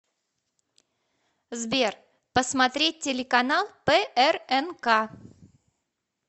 сбер посмотреть телеканал прнк